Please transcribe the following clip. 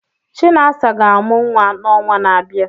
Chinasa ga-amụ nwa n'ọnwa na-abịa.